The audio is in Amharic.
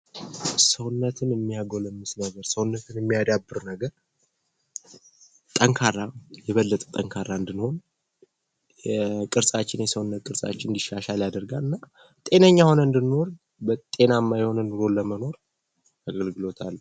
ሰውነትን የሚያጎለምስ ነገር ሰውነትን የሚያዳብር ነገር ጠንካራ የበለጠ ጠንካራ እንድንሆን የቅርጻችን የሰውነት ቅርጻችን እንዲሻሻል ያደርጋልና ጤነኛ ሆነ እንድንኖር እንድንኖር ጤናማ የሆነ ኑሮ ለመኖር አገልግሎት አለው::